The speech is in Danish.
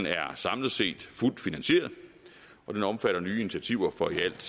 er samlet set fuldt finansieret den omfatter nye initiativer for i alt